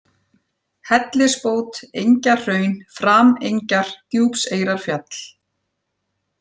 Hellisbót, Engjahraun, Framengjar, Djúpseyrarfjall